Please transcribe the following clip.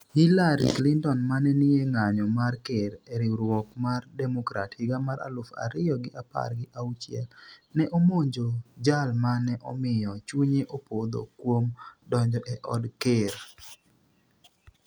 Hillary Clinton ma ne nie ng'anyo mar ker e riwruok mar Democrat higa mar aluf ariyo gi apar gi auchiel ne omonjo jal mane omiyo chunye opodho kuom donjo e od ker